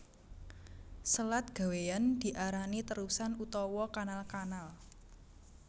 Selat gawéyan diarani terusan utawa kanalKanal